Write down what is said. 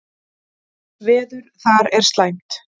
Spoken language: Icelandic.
Veður þar er slæmt.